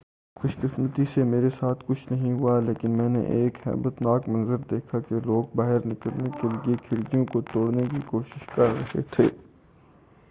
خوش قسمتی سے میرے ساتھ کچھ نہیں ہوا لیکن میں نے ایک ہیبت ناک منظر دیکھا کہ لوگ باہر نکلنے کیلئے کھڑکیوں کو توڑنے کی کوشش کر رہے تھے